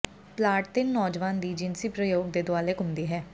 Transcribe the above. plot ਤਿੰਨ ਨੌਜਵਾਨ ਦੀ ਜਿਨਸੀ ਪ੍ਰਯੋਗ ਦੇ ਦੁਆਲੇ ਘੁੰਮਦੀ ਹੈ